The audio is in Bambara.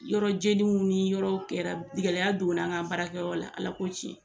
Yɔrɔjeniw ni yɔrɔ kɛra gɛlɛya donna an ka baarakɛyɔrɔ la Ala ko tiɲɛ